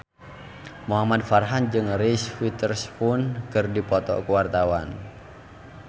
Muhamad Farhan jeung Reese Witherspoon keur dipoto ku wartawan